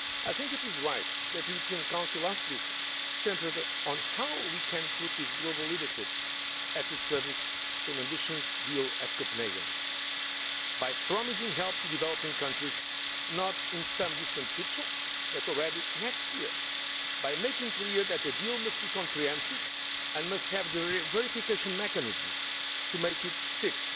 I think that it is right that the European Council last week centred on how we can put this global leadership at the service of an ambitious deal at Copenhagen by promising help to developing countries not in some distant future but already next year by making clear that the deal must be comprehensive and must have the verification mechanisms to make it stick